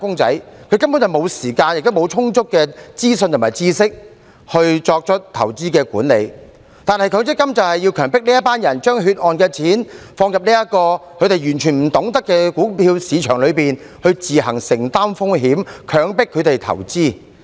這些"打工仔"根本沒有時間，亦沒有充足的資訊和知識來作出投資管理，但強積金計劃便是強迫這群人將血汗錢放入這個他們完全不懂得的股票市場裏，並且自行承擔風險，強迫他們投資。